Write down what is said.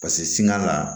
Paseke sini a la